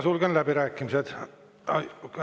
Sulgen läbirääkimised.